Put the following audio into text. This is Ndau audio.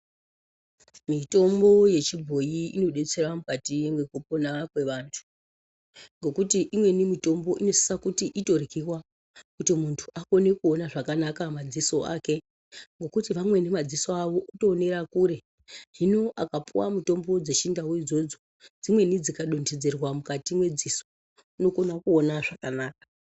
Mitombo yechibhoyi inodetsera mukati mwekupona kwevantu ngekuti imweni mitombo inosise kuti itoryiwa kuti muntu akone kuona zvakanaka madziso ake ngekuti vamweni madziso avo kutoonera kure. Hino akapuwa mitombo dzechindau idzodzo dzimweni dzikadonhodzerwa mukati mwedziso unokone kuona zvakanaka.